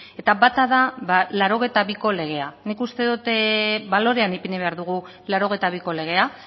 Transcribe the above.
eta bata da mila bederatziehun eta laurogeita biko legea nik uste dut balorean ipini behar dugu mila bederatziehun eta laurogeita biko legea